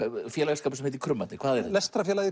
félagsskapur sem heitir